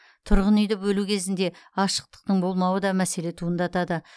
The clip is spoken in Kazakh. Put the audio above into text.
тұрғын үйді бөлу кезінде ашықтықтың болмауы да мәселе туындатады